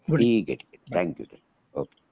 ठीक आहे ठीक आहे थॅंक यू ओके